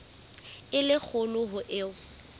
e le kgolo ho eo